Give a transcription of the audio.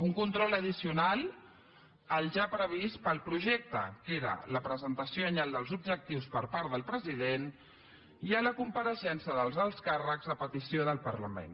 un control addicional al ja previst pel projecte que era la presentació anyal dels objectius per part del president i la compareixença dels alts càrrecs a petició del parlament